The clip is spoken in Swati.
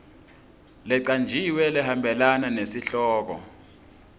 lecanjiwe lehambelana nesihloko